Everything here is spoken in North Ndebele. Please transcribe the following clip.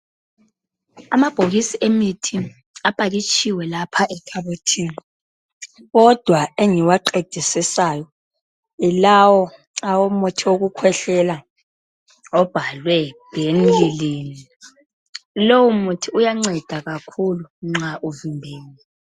Amabhokisi emithi apakitshiwe lapha ekhabothini kodwa engiwaqedisisayo yilawo owomuthi owokukhwehlela obhalwe benylin, lowo muthi uyanceda kakhulu nxa usungenile.